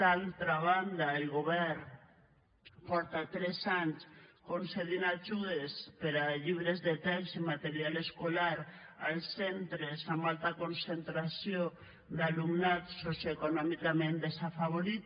d’altra banda el govern fa tres anys que concedeix ajudes per a llibres de text i material escolar als centres amb alta concentració d’alumnat socioeconòmicament desafavorit